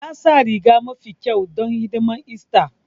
Ya sa rigarsa mafi kyau don hidimar ista